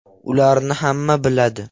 Ularni hamma biladi”.